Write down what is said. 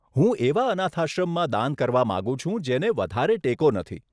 હું એવા અનાથાશ્રમમાં દાન કરવા માંગુ છું જેને વધારે ટેકો નથી.